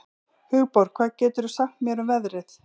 Hugborg, hvað geturðu sagt mér um veðrið?